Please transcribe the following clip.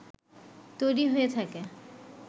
তৈরি হয়ে থাকে